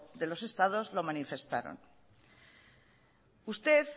de los estados lo manifestaron usted